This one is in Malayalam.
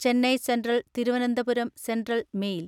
Chennai central Thiruvananthapuram central mail